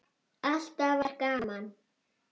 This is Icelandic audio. Alltaf var gaman.